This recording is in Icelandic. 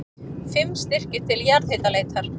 Fimm styrkir til jarðhitaleitar